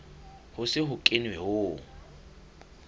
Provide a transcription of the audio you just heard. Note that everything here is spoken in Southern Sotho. ho se ho kenwe ho